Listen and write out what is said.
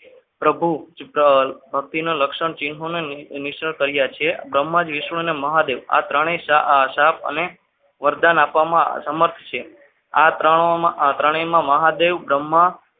પ્રભુ ધરતી ના લક્ષણ ચિન્હોને મિશ્ર કર્યા છે બ્રહ્મા કૃષ્ણ અને મહાદેવ આ ત્રણેય અને શ્રાપ વરદાન આપવામાં સમર્થ છે આ ત્રણેયમાં મહાદેવ બ્રહ્મા